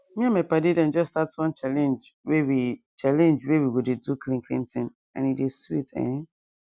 me and my padi dem just start one challenge wey we challenge wey we go dey do clean clean thing and e dey sweet um.